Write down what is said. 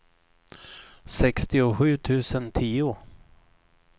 sextiosju tusen tio